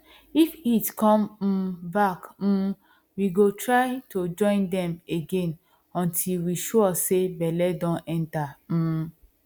if heat come um back um we go try to join dem again until we sure say belle don enter um